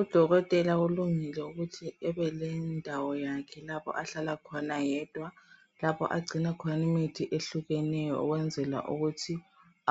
Udokotela ulungile ukuthi ebelendawo yakhe , lapho ahlala khona yedwa..Lapho agcina khona imithi, ehlukeneyo, ukwenzela ukuthi